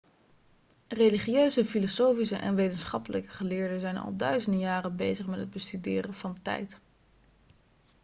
religieuze filosofische en wetenschappelijke geleerden zijn al duizenden jaren bezig met het bestuderen van tijd